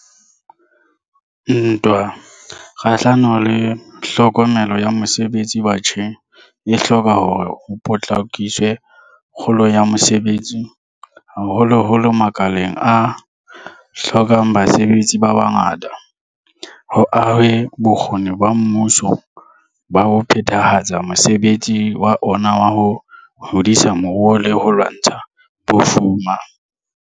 Ntwa kgahlano le tlhokeho ya mosebetsi batjheng e hloka hore ho potlakiswe kgolo ya mosebetsi, haholoholo makaleng a hlokang basebetsi ba bangata, ho ahwe bokgoni ba mmuso ba ho phethahatsa mosebetsi wa ona wa ho hodisa moruo le ho lwantsha bofuma.